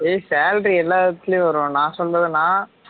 ஏ salary எல்லா இடத்துலையும் வரும் நான் சொல்றதுன்னா